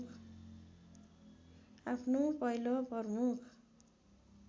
आफ्नो पहिलो प्रमुख